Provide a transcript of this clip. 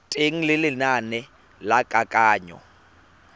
teng ga lenane la kananyo